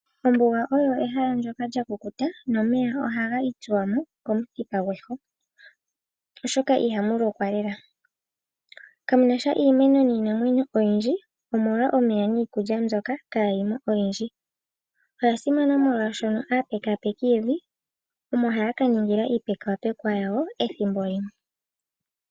Ombuga olyo ehala ndoka lya kukuta nomeya ohaga itsuwa mo komuthipa gweho, oshoka ihamu lokwa lela. Kamunasha iimeno niinamwenyo oyindji omolwa omeya niikulya mbyoka kaayimo oyindji. Oya simana molwashoka aapekapeki yevi omo haya ka nyongela iipekapekwa yawo ethimbo limwe.